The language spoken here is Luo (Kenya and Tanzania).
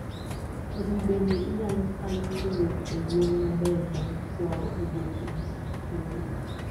kodhi bende inyalo kawi kowuok e yien maber bang' kwao oboke gi kikeyo